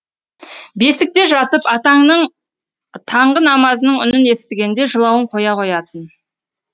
бесікте жатып атаңның таңғы намазының үнін естігенде жылауын қоя қоятын